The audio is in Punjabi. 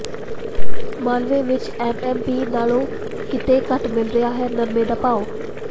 ਮਾਲਵੇ ਵਿਚ ਐਮਐਸਪੀ ਨਾਲੋਂ ਕਿਤੇ ਘੱਟ ਮਿਲ ਰਿਹਾ ਹੈ ਨਰਮੇ ਦਾ ਭਾਅ